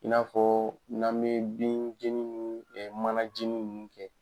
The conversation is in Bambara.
In n'a fɔ n'an bɛ bin jeni ni mana jeni ninnu kɛ